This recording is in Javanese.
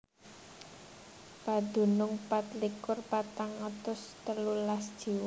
Padunung patlikur patang atus telulas jiwa